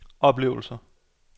oplevelser